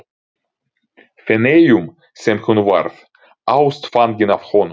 Feneyjum sem hún varð ástfangin af honum.